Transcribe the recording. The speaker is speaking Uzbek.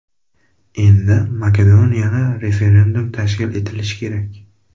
Endi Makedoniyada referendum tashkil etilishi kerak.